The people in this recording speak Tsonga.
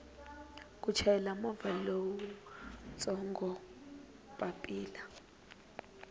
ku chayela movha lowutsongo papila